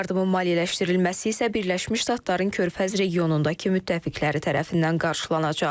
Yardımın maliyyələşdirilməsi isə Birləşmiş Ştatların körfəz regionundakı müttəfiqləri tərəfindən qarşılanacaq.